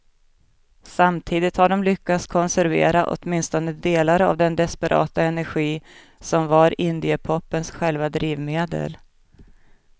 Samtidigt har de lyckats konservera åtminstone delar av den desperata energi som var indiepopens själva drivmedel.